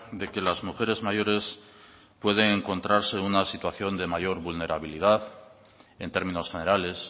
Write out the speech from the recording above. de que las mujeres mayores pueden encontrarse en una situación de mayor vulnerabilidad en términos generales